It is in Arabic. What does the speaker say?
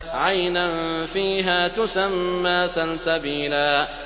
عَيْنًا فِيهَا تُسَمَّىٰ سَلْسَبِيلًا